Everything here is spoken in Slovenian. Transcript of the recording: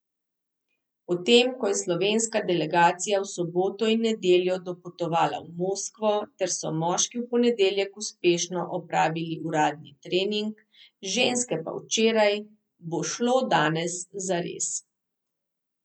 Potem ko je slovenska delegacija v soboto in nedeljo dopotovala v Moskvo ter so moški v ponedeljek uspešno opravili uradni trening, ženske pa včeraj, bo šlo danes zares.